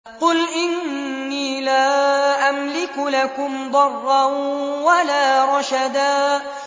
قُلْ إِنِّي لَا أَمْلِكُ لَكُمْ ضَرًّا وَلَا رَشَدًا